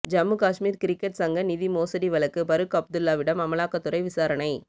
Jammu Kashmir cricket சங்க நிதி மோசடி வழக்கு பரூக் அப்துல்லாவிடம் அமலாக்கத்துறை விசாரணை